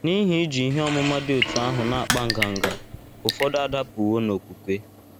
N’ihi iji ihe ọmụma dị otú ahụ na - akpa nganga, ụfọdụ adapụwo n’okwukwe.